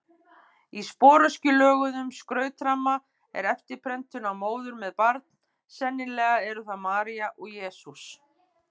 Í sporöskjulöguðum skrautramma er eftirprentun af móður með barn, sennilega eru það María og Jesús.